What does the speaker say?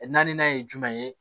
Naaninan ye jumɛn ye